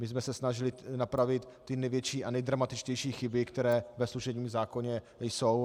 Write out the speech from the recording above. My jsme se snažili napravit ty největší a nejdramatičtější chyby, které ve služebním zákoně jsou.